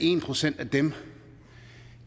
en procent af dem